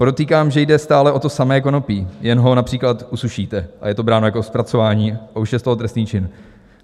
Podotýkám, že jde stále o to samé konopí, jen ho například usušíte, a je to bráno jako zpracování a už je z toho trestný čin.